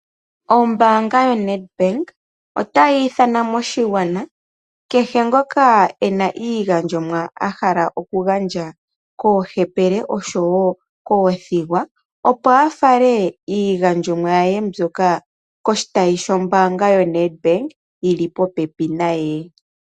Ombaanga yoNedbak ota yiithana moshigwana, kehe ngoka ena iigandjomwa ahala okugandja koohepele oshowo koothigwa, opo afale iigandjomwa yaye mbyoka koshitayi shombaanga yoNedbank yili popepi naye.